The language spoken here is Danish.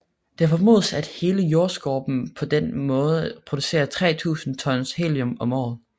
Det formodes at hele Jordskorpen på denne måde producerer 3000 tons helium om året